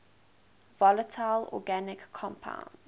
volatile organic compounds